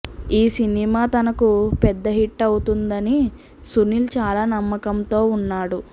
ఈ సినిమా తనకు పెద్ద హిట్ అవుతుందని సునీల్ చాలా నమ్మకంతో వున్నాడు